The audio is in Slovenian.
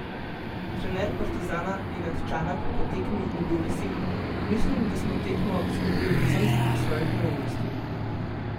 Trener Partizana Nenad Čanak po tekmi ni bil vesel: "Mislim, da smo tekmo izgubili predvsem zaradi svojih neumnosti.